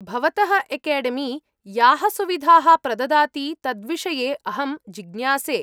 भवतः एकेडेमी याः सुविधाः प्रददाति तद्विषये अहं जिज्ञासे।